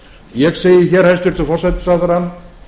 ég segi hér hæstvirtur forsætisráðherra